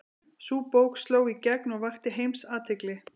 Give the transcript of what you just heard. Sú bók sló í gegn og vakti heimsathygli.